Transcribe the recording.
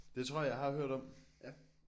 Det tror jeg jeg har hørt om